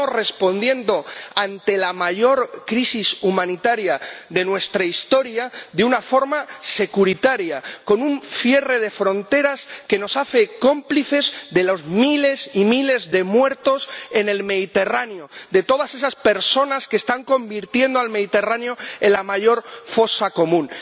Estamos respondiendo ante la mayor crisis humanitaria de nuestra historia de una forma securitaria, con un cierre de fronteras que nos hace cómplices de los miles y miles de muertos en el Mediterráneo, de todas esas personas que están convirtiendo al Mediterráneo en la mayor fosa común.